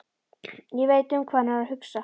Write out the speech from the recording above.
Ég veit um hvað hann er að hugsa.